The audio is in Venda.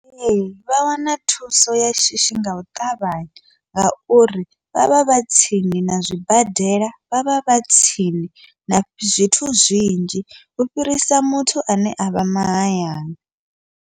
Ee, vha wana thuso ya shishi ngau ṱavhanya, ngauri vha vha vha tsini na zwibadela vha vha vha tsini na zwithu zwinzhi u fhirisa muthu ane avha mahayani.